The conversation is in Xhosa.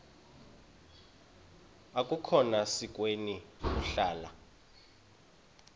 akukhona sikweni ukuhlala